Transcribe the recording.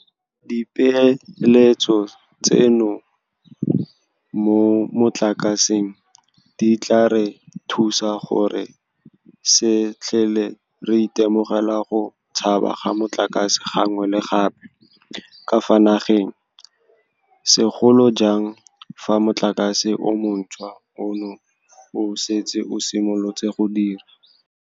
Dipeeletso tseno mo motlakaseng di tla re thusa gore re se tlhole re itemogela go tshaba ga motlakase gangwe le gape ka fa nageng, segolo jang fa motlakase o montšhwa ono o setse o simolotse go dira.